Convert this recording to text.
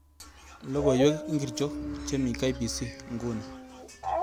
logoiwek ingirchok che mii k.b.c nguni